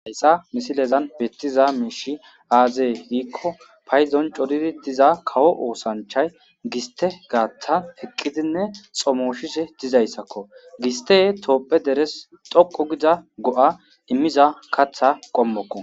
Hayssa misilezan bettiza miishshi aaze giikko payddon coridi diza kawo oosanchay giste gaaththan eqqidinne xomooshishe dizayssakko giste toophphiya derees doqqu giza go'a immiza kaththa qommokko